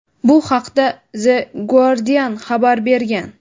Bu haqda "The Guardian" xabar bergan.